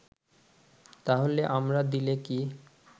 তাহলে আমরা দিলে কি